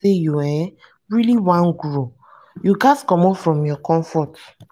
you um really want grow you ghas commot from your comfort.